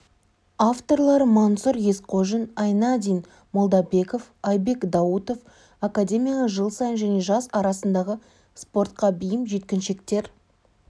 авторлары мансұр есқожин айнадин молдабеков айбек даутов академияға жыл сайын және жас арасындағы спортқа бейім жеткіншектер